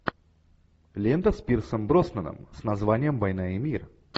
лента с пирсом броснаном с названием война и мир